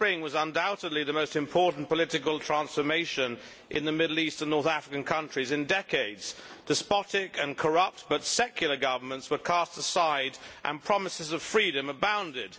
Mr President, the Arab Spring was undoubtedly the most important political transformation in the Middle East and North African countries in decades. Despotic and corrupt but secular governments were cast aside, and promises of freedom abounded.